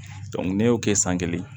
ne y'o kɛ san kelen